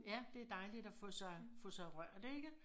Ja det dejligt at få sig få sig rørt ikke